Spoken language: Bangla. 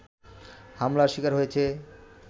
হামলার শিকার হয়েছে